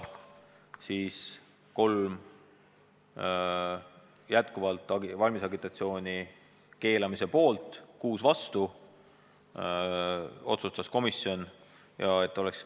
Kolm häält anti valimisagitatsiooni keelamise poolt ja viis häält vastu.